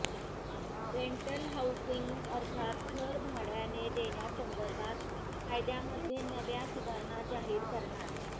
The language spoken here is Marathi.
रेंटल हाऊसिंग अर्थात घर भाड्याने देण्यासंदर्भात कायद्यांमध्ये नव्या सुधारणा जाहीर करणार